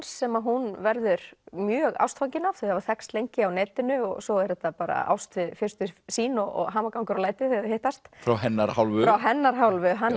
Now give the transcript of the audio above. sem hún verður mjög ástfangin af þau hafa þekkst lengi á netinu og svo er þetta bara ást við fyrstu sýn og hamagangur og læti þegar þau hittast frá hennar hálfu frá hennar hálfu hann